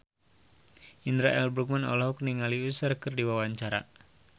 Indra L. Bruggman olohok ningali Usher keur diwawancara